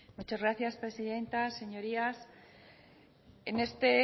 muchas gracias presidenta señorías en este